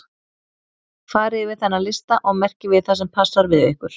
Farið yfir þennan lista og merkið við það sem passar við ykkur.